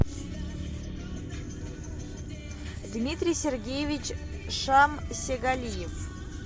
дмитрий сергеевич шамсегалиев